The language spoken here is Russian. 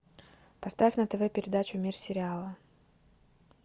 поставь на тв передачу мир сериала